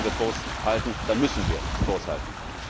Da wollen wir Kurs halten, da müssen wir Kurs halten.